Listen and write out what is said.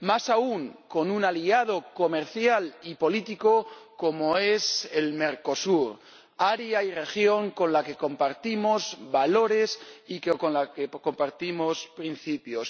más aún con un aliado comercial y político como es Mercosur, área y región con la que compartimos valores y con la que compartimos principios.